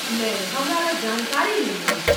नहि ,हमरा लग जानकारी नहि अछि।